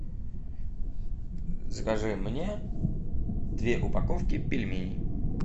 закажи мне две упаковки пельменей